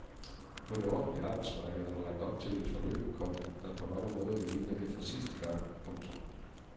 På det offentlige arbejdsmarked er der lagt op til et forløb, komma der på mange måder vil ligne det fra sidste gang. punktum